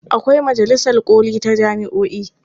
Akwai majalisar ƙoli ta jami'o'i.